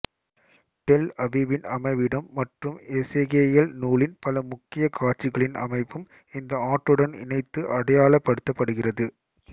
del அபிபின் அமைவிடம் மற்றும் எசேக்கியேல் நூலின் பல முக்கிய காட்சிகளின் அமைப்பும் இந்த ஆற்றுடன் இணைத்து அடையாளப்படுத்தப்படுகிறது